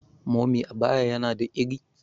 mummy abaya yana da ire?